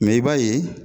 Mɛ i b'a ye